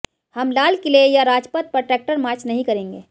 हम लाल किले या राजपथ पर ट्रैक्टर मार्च नहीं करेंगे